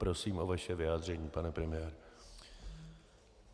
Prosím o vaše vyjádření, pane premiére.